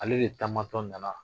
Ale de taamatɔ nana